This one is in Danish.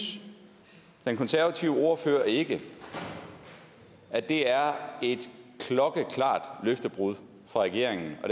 den konservative ordfører ikke at det er et klokkeklart løftebrud fra regeringens og